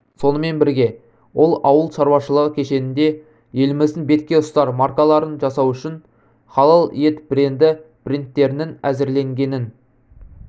сонымен бірге ол ауыл шаруашылығы кешенінде еліміздің беткеұстар маркаларын жасау үшін халал ет бренді брендтерінің әзірленгенін